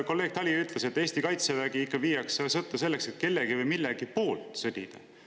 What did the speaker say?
Kolleeg Tali ütles, et Eesti kaitsevägi viiakse sõtta selleks, et kellegi või millegi poolt sõdida.